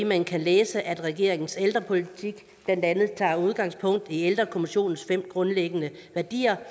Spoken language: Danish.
man kan læse at regeringens ældrepolitik blandt andet tager udgangspunkt i ældrekommissionens fem grundlæggende værdier